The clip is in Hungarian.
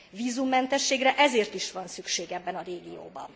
Vízummentességre ezért is van szükség ebben a régióban.